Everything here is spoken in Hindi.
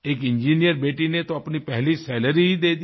एक इंजिनियर बेटी ने तोअपनी पहली सैलरी ही दे दी